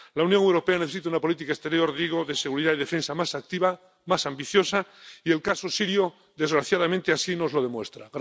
La Unión Europea necesita una política exterior —digo— de seguridad y defensa más activa, más ambiciosa, y el caso sirio desgraciadamente así nos lo demuestra.